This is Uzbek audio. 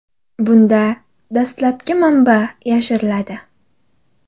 Bunda dastlabki manba yashiriladi.